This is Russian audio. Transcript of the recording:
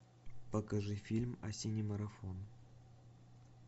покажи фильм осенний марафон